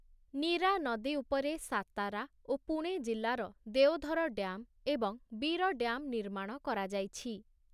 ନୀରା ନଦୀ ଉପରେ ସାତାରା ଓ ପୁଣେ ଜିଲ୍ଲାର ଦେଓଧର ଡ୍ୟାମ୍‌ ଏବଂ ବୀର ଡ୍ୟାମ୍‌ ନିର୍ମାଣ କରାଯାଇଛି ।